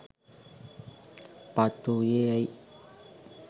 පත් වූයේ ඇයි?